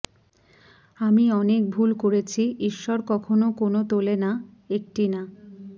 আমি অনেক ভুল করেছি ঈশ্বর কখনও কোন তোলে না একটি না